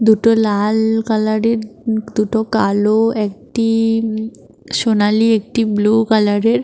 দুটো লাল কালার -এর দুটো কালো একটি উমম সোনালী একটি ব্লু কালার এর --